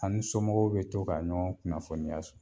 Ani somɔgɔw bi to ka ɲɔgɔn kunnafoniya so